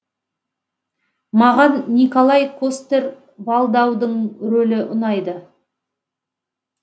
маған николай костер валдаудың рөлі ұнайды